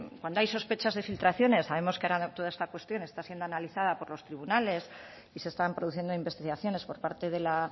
cuando hay sospechas de filtraciones sabemos que ahora toda esta cuestión está siendo analizada por los tribunales y se están produciendo investigaciones por parte de la